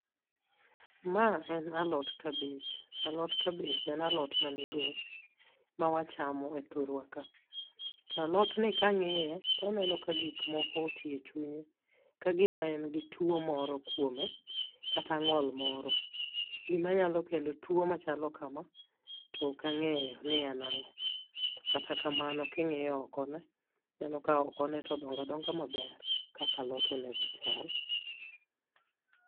Ma en alot kabej. Alot kabej en alot ma migosi, mawachamo e thurwa ka. Ta alotni kang'iye, taneno ka gik moko oti e chunye, ka gi ma en gi tuwo moro kuome, kata ng'ol moro. Gi manyalo kelo tuwo machalo kama, tokang'eyo ni en ang'o. To kata kamano king'iyo oko ne, ineno ka oko ne todonga donga maber kaka alot onego chal.